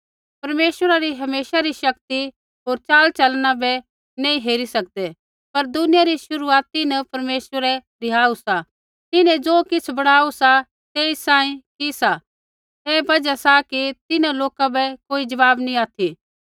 परमेश्वरा री हमेशा री शक्ति होर चालचलना बै नैंई हेरी सकदै पर दुनिया री शुरुआती न परमेश्वरै रिहाऊ सा तिन्हें ज़ो किछ़ बणाऊ सा तेई सांही कि सा ऐ बजहा सा कि तिन्हां लोका बै कोई जवाब नैंई ऑथि